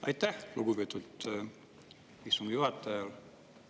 Aitäh, lugupeetud istungi juhataja!